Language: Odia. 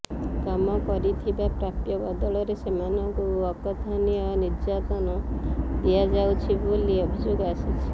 କାମ କରିଥିବା ପ୍ରାପ୍ୟ ବଦଳରେ ସେମାନଙ୍କୁ ଅକଥନୀୟ ନିର୍ଯାତନ ଦିଆଯାଉଛି ବୋଲି ଅଭିଯୋଗ ଆସିଛି